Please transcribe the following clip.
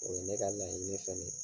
O ye ne ka laɲini fɛna ye.